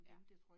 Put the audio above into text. Ja